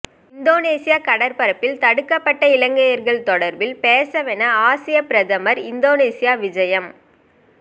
Indonesia கடற்பரப்பில் தடுக்கப்பட்ட இலங்கையர்கள் தொடர்பில் பேசவென ஆஸி பிரதமர் இந்தோனேசியா விஜயம்